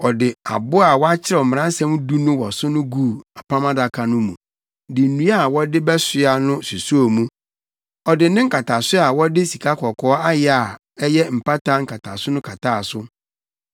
Ɔde abo a wɔakyerɛw Mmaransɛm Du no wɔ so no guu Apam Adaka no mu de nnua a wɔde bɛsoa no susoo mu. Ɔde ne nkataso a wɔde sikakɔkɔɔ ayɛ a ɛyɛ mpata nkataso no kataa so.